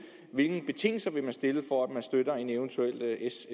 hvilke betingelser vil man stille for at man støtter en eventuel s